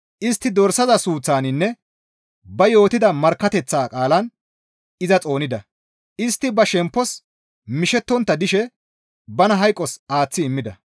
Istti dorsaza suuththaninne ba yootida markkateththa qaalan iza xoonida; istti ba shemppos mishettontta dishe bana hayqos aaththi immida.